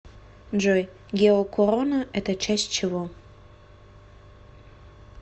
джой геокорона это часть чего